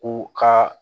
U ka